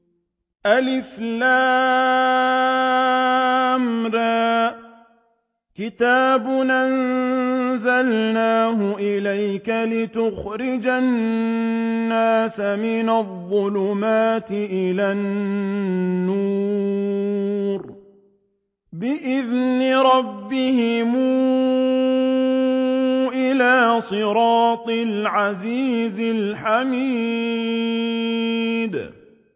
الر ۚ كِتَابٌ أَنزَلْنَاهُ إِلَيْكَ لِتُخْرِجَ النَّاسَ مِنَ الظُّلُمَاتِ إِلَى النُّورِ بِإِذْنِ رَبِّهِمْ إِلَىٰ صِرَاطِ الْعَزِيزِ الْحَمِيدِ